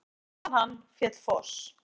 Fyrir neðan hann féll foss.